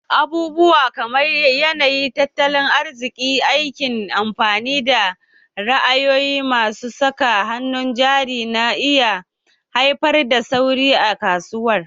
Abubuwa kamar yanayin tattalin arziki, aikin kamfani, da ra'ayin masu saka hannun jari na iya haifar da sauyi a kasuwar